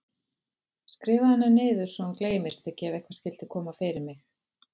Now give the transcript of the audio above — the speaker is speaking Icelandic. Skrifaðu hana niður svo hún gleymist ekki ef eitthvað skyldi koma fyrir mig.